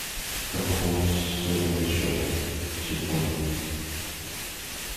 как пополнить свой номер счета телефона